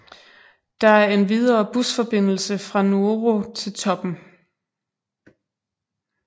Der er endvidere busforbindelse fra Nuoro til toppen